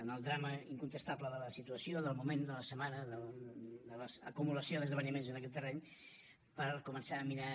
en el drama incontestable de la situació del moment de la setmana de les acumulacions d’esdeveniments en aquest terreny per començar a mirar